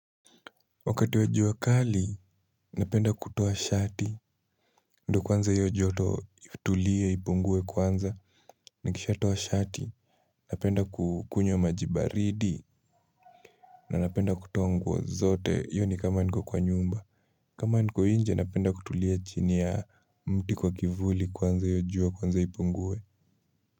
Wakati wa jua kali, napenda kutoa shati, ndo kwanza hiyo joto itulie, ipungue kwanza, nikisha toa shati, napenda kukunywa maji baridi, na napenda kutoa nguo zote, hiyo ni kama niko kwa nyumba, kama niko inje, napenda kutulia chini ya mti kwa kivuli kwanza hiyo jua, kwanza ipungue.